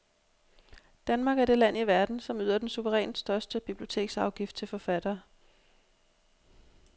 Danmark er det land i verden, som yder den suverænt største biblioteksafgift til forfattere.